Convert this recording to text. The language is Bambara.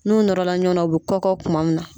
N'u nɔrɔla ɲɔgɔna u bɛ kɔkɔ kuma min na.